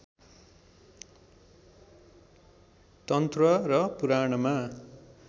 तन्त्र र पुराणमा